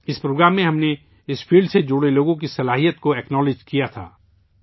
اس programme میں ہم نے اس شعبے سے جڑے لوگوں کی صلاحیت کو تسلیم کیا تھا